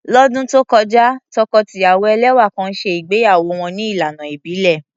Lọ́dún tó kọjá, tọkọ-tìyàwó ẹlẹ́wà kan ṣe ìgbéyàwó wọn ní ìlànà ìbílẹ̀.